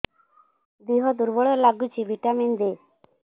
ଦିହ ଦୁର୍ବଳ ଲାଗୁଛି ଭିଟାମିନ ଦେ